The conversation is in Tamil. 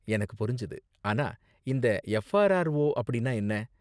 எனக்கு புரிஞ்சது. ஆனா, இந்த எஃப்ஆர்ஆர்ஓ அப்படினா என்ன?